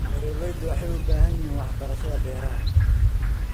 Beeraleydu waxay u baahan yihiin waxbarashada beeraha.